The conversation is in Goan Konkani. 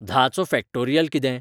धाचो फॅक्टोरीयल कितें?